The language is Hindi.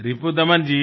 रिपुदमन जी